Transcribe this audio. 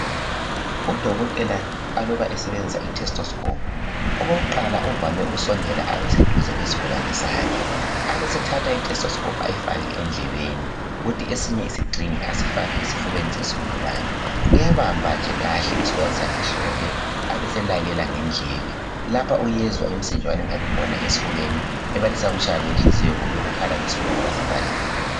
Udokotela usebenzisa ithesteskhophu okokuqala uvame ukusindela abesedeze lesigulane sakhe abesethatha ithesteskhophu endlebeni yakhe esinye isixhingi asifake esifubeni sesi gulane uyabamba kahle njekhle isigulane sakhe ehlombe abeselalela ngendlebe lapha uyezwa umsindwane ongabe ukhona esifubeni ebalisa ukutshaya kwenhliziyo lokukhala kwesifuba ngoba sivalekile